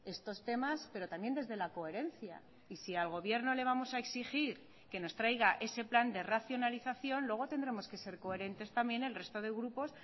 estos temas pero también desde la coherencia y si al gobierno le vamos a exigir que nos traiga ese plan de racionalización luego tendremos que ser coherentes también el resto de grupos